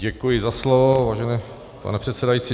Děkuji za slovo, vážený pane předsedající.